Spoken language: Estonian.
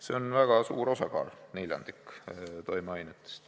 See on väga suur osakaal, neljandik toimeainetest.